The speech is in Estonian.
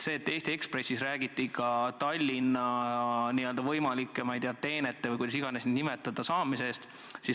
Eesti Ekspressis räägiti ka Tallinna n-ö võimalike, ma ei tea, teenete või kuidas tahes neid nimetada, saamise eest.